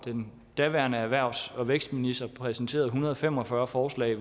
er den daværende erhvervs og vækstminister præsenterede en hundrede og fem og fyrre forslag